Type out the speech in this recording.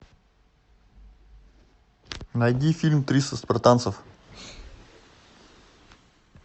найди фильм триста спартанцев